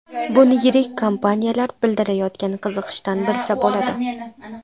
Buni yirik kompaniyalar bildirayotgan qiziqishdan bilsa bo‘ladi.